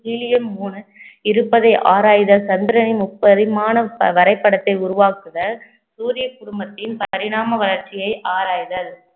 இருப்பதை ஆராய்ந்த சந்திரனின் முப்பரிமாண வரைபடத்தை உருவாக்குதல் சூரிய குடும்பத்தின் பரிணாம வளர்ச்சியை ஆராய்தல்